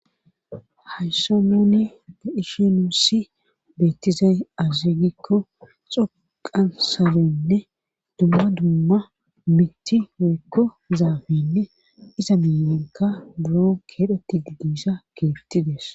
hayssn nuni de'ishe nuussi beettizay aze gikko xoqa saloyininne dumma dumma mitti woykko zaafinne iza miiyanka buro keexetiedi diza kiiti des